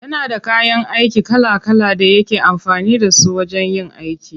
Yana da kayan aiki kala kala da yake amfani da su wajen yin aiki.